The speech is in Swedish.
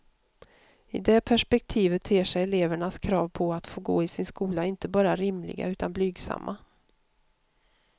I det perspektivet ter sig elevernas krav på att få gå i sin skola inte bara rimliga utan blygsamma.